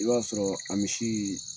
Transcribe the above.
I b'a sɔrɔɔ a misii